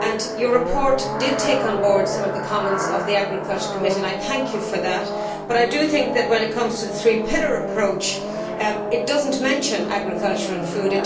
Your report did take on board some of the comments of the Committee on Agriculture, and I thank you for that, but I do think that when it comes to the three pillar approach it does not mention agriculture and food.